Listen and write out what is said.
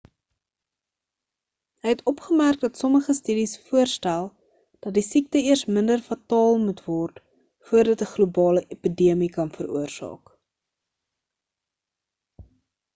hy het opgemerk dat sommige studies voorstel dat die siekte eers minder fataal moet word voor dit 'n globale epidemie kan veroorsaak